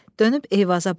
Dönüb Eyvaza baxdı.